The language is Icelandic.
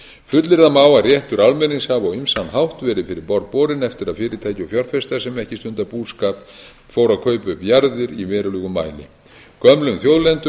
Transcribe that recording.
fullyrða má að réttur almennings hafi á ýmsan hátt verið fyrir borð borinn eftir að fyrirtæki og fjárfestar sem ekki stunda búskap fóru að kaupa upp jarðir í verulegum mæli gömlum þjóðleiðum